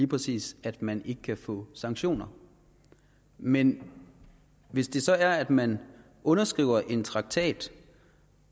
præcis at man ikke kan få sanktioner men hvis det så er at man underskriver en traktat